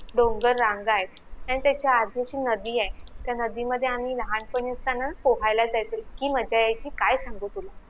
डोंगर रांगाएत आणि त्याच्या आधी अशी नदीए त्या नदी मधे आम्ही लहानपणी चांगलं पोहायला जायचो इतकी मज्जा येयची काय सांगू तुला